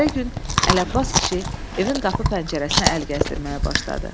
Səhəri gün Əli Abbas kişi evin qapı pəncərəsinə əl gəzdirməyə başladı.